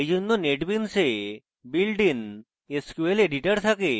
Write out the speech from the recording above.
এইজন্য netbeans a built in sqlএডিটর থাকে